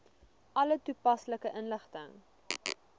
alle toepaslike inligting